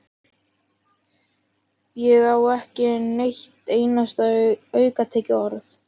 Ég á ekki eitt einasta aukatekið orð!